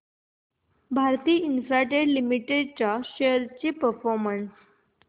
Bharti Infratel Limited shares चा performance